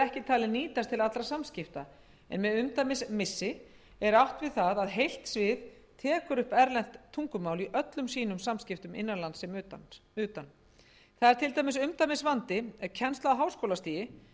ekki talið nýtast til allra samskipta en með umdæmismissi er átt við það að heilt svið tekur upp erlent tungumál í öllum sínum samskiptum innanlands sem utan það er til dæmis umdæmisvandi ef kennsla á háskólastigi fer